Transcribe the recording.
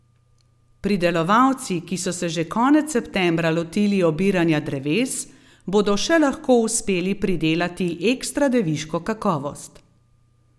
Pridelovalci, ki so se že konec septembra lotili obiranja dreves, bodo še lahko uspeli pridelati ekstradeviško kakovost.